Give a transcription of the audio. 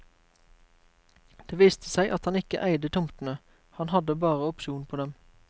Det viste seg at han ikke eide tomtene, han hadde bare opsjon på dem.